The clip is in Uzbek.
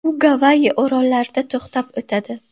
U Gavayi orollarida to‘xtab o‘tadi.